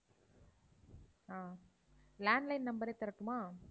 ஆஹ் landline number ஏ தரட்டுமா?